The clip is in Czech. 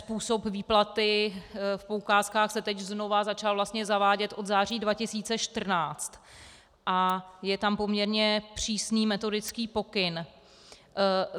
Způsob výplaty v poukázkách se teď znova začal vlastně zavádět od září 2014 a je tam poměrně přísný metodický pokyn.